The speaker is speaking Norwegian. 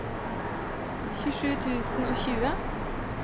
tjuesju tusen og tjue